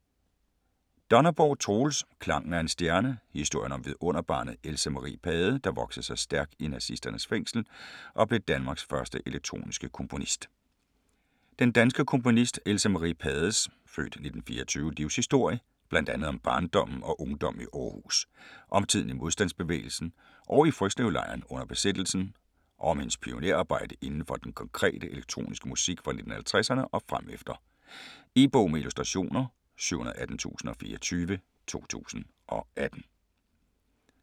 Donnerborg, Troels: Klangen af en stjerne: historien om vidunderbarnet, Else Marie Pade, der voksede sig stærk i nazisternes fængsel og blev Danmarks første elektroniske komponist Den danske komponist Else Marie Pades (f. 1924) livshistorie, bl.a. om barndommen og ungdommen i Århus, om tiden i modstandsbevægelsen og i Frøslevlejren under besættelsen, og om hendes pionerarbejde inden for den konkrete, elektroniske musik fra 1950'erne og fremefter. E-bog med illustrationer 718024 2018.